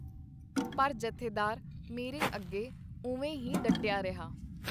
ਪਰ ਜਥੇਦਾਰ ਮੇਰੇ ਅੱਗੇ ਉਵੇ ਹੀ ਡੱਟਿਆ ਰਿਹਾ.